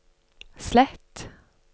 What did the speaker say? slett